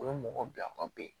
O ye mɔgɔ bila ka ben